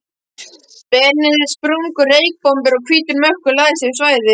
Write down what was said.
Benedikt, sprungu reykbombur og hvítur mökkur lagðist yfir svæðið.